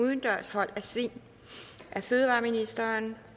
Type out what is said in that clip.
tak til ministeren